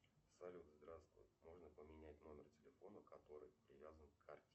салют здравствуй можно поменять номер телефона который привязан к карте